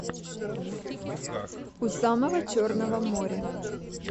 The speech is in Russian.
у самого черного моря